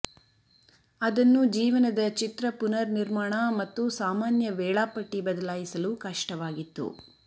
ಅದನ್ನು ಜೀವನದ ಚಿತ್ರ ಪುನರ್ನಿರ್ಮಾಣ ಮತ್ತು ಸಾಮಾನ್ಯ ವೇಳಾಪಟ್ಟಿ ಬದಲಾಯಿಸಲು ಕಷ್ಟವಾಗಿತ್ತು